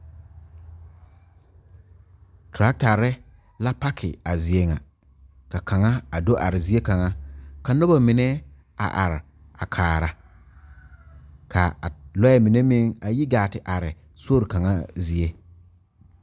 Tɔratare la pakee a zie kaŋa ka kaŋa a do are zie kaŋa ka noba mine a are kaara ka lɔɛ mine meŋ yi gaa te are sori kaŋa zie.